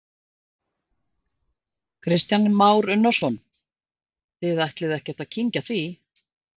Kristján Már Unnarsson: Þið ætlið ekkert að kyngja því?